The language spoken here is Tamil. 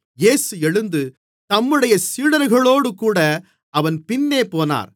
இயேசு எழுந்து தம்முடைய சீடர்களோடுகூட அவன் பின்னே போனார்